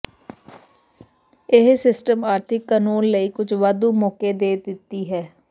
ਇਹ ਸਿਸਟਮ ਆਰਥਿਕ ਕਾਨੂੰਨ ਲਈ ਕੁਝ ਵਾਧੂ ਮੌਕੇ ਦੇ ਦਿੱਤੀ ਹੈ